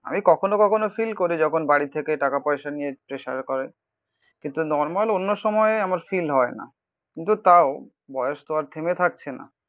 আমি কখনো কখনো ফিল করি যখন বাড়ি থেকে টাকা পয়সা নিয়ে প্রেসার করে. কিন্তু নর্মাল অন্য সময় আমার ফিল হয় না. কিন্তু তাও বয়স তো আর থেমে থাকছে না.